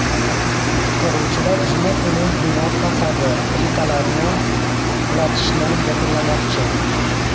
Qutqaruvchilar juma kuni bino fasadi plitalarini qulatishni yakunlamoqchi.